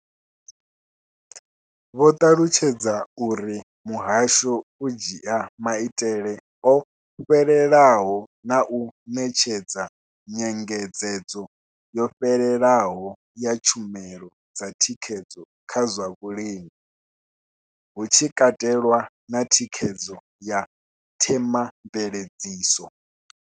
Vho ṱalutshedza uri muhasho u dzhia maitele o fhelelaho na u ṋetshedza nyengedzedzo yo fhelelaho ya tshumelo dza thikhedzo kha zwa vhulimi, hu tshi katelwa na thikhedzo ya themamveledziso.